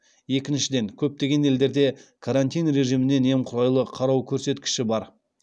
екіншіден көптеген елдерде карантин режиміне немқұрайлы қарау көрсеткіші бар